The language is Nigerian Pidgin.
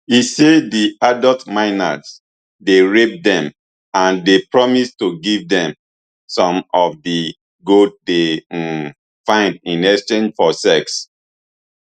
e say di adult miners dey rape dem and dey promise to give dem some of di gold dey um find in exchange for sex